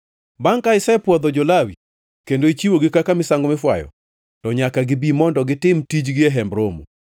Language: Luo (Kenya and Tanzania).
“Bangʼ ka isepwodho jo-Lawi kendo ichiwogi kaka misango mifwayo, to nyaka gibi mondo gitim tijgi e Hemb Romo.